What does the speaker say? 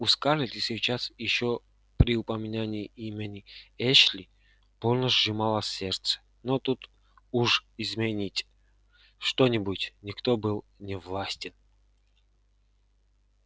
у скарлетт и сейчас ещё при упоминании имени эшли больно сжималось сердце но тут уж изменить что-нибудь никто был не властен